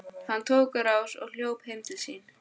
Hann tók á rás og hljóp heim til sín.